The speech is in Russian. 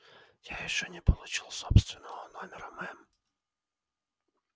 я ещё не получил собственного номера мэм